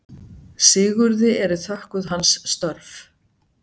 Sigurði eru þökkuð hans störf.